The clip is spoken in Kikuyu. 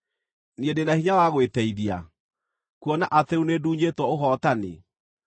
Niĩ ndĩ na hinya wa gwĩteithia, kuona atĩ rĩu nĩndunyĩtwo ũhootani?